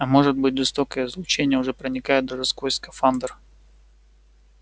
а может быть жестокое излучение уже проникает даже сквозь скафандр